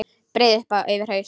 Breiði upp yfir haus.